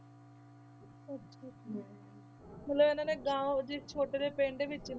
ਮਤਲਬ ਇਹਨਾਂ ਨੇ ਗਾਓਂ ਉਹ ਜਿਹੇ ਛੋਟੇ ਜਿਹੇ ਪਿੰਡ ਵਿੱਚ,